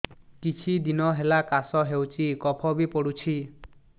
କିଛି ଦିନହେଲା କାଶ ହେଉଛି କଫ ବି ପଡୁଛି